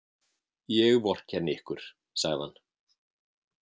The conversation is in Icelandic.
Ég vorkenni ykkur, sagði hann.